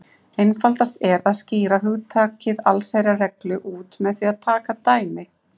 Einfaldast er að skýra hugtakið allsherjarreglu út með því að taka dæmi.